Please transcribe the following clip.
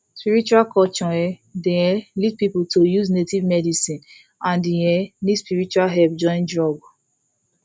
spiritual culture um dey um lead people to take use native medicine and e um need spiritual help join drug